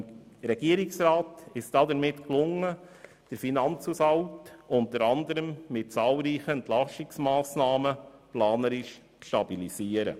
Dem Regierungsrat ist es damit gelungen, den Finanzhaushalt unter anderem mit zahlreichen Entlastungsmassnahmen planerisch zu stabilisieren.